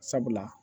Sabula